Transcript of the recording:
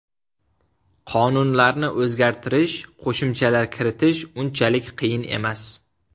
Qonunlarni o‘zgartirish, qo‘shimchalar kiritish unchalik qiyin emas.